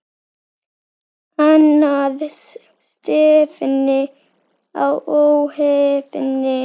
Annars stefni í óefni.